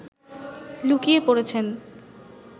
লুকিয়ে পড়েছেন